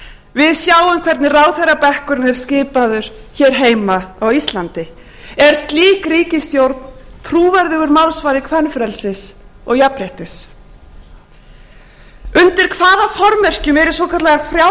við sem hvernig ráðherrabekkurinn er skipaður hér heima á íslandi er slík ríkisstjórn trúverðugur málsvari kvenfrelsis og jafnréttis undir hvaða formerkjum eru svokallaðar frjálslyndar